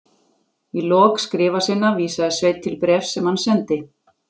Í lok skrifa sinna vísaði Sveinn til bréfs sem hann sendi